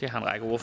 det har en række af